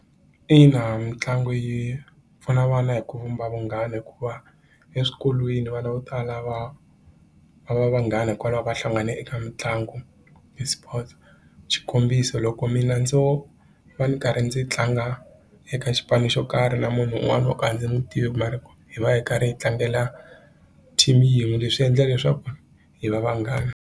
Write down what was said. Ina mitlangu yi pfuna vana hi ku vumba vunghana hikuva eswikolweni vana vo tala va va va vanghani hikwalaho ka hlangane eka mitlangu ti-sports xikombiso loko mina ndzo va ndzi karhi ndzi tlanga eka xipano xo karhi na munhu un'wani wo ka a ndzi n'wi tivi mara hi va hi karhi hi tlangela team yin'we leswi endla leswaku hi va vanghana.